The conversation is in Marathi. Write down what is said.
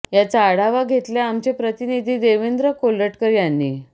याचा आढावा घेतलाय आमचे प्रतिनिधी देवेंद्र कोल्हटकर यांनी